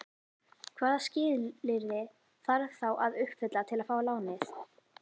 Hvaða skilyrði þarf þá að uppfylla til að fá lánið?